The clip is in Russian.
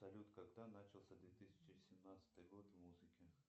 салют когда начался две тысячи семнадцатый год в музыке